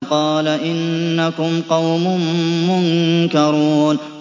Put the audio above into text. قَالَ إِنَّكُمْ قَوْمٌ مُّنكَرُونَ